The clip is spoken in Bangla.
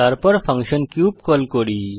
তারপর ফাংশন কিউব কল করি